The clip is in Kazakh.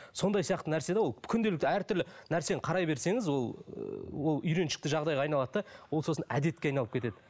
сондай сияқты нәрсе де ол күнделікті әртүрлі нәрсені қарай берсеңіз ол ыыы ол үйреншікті жағдайға айналады да ол сосын әдетке айналып кетеді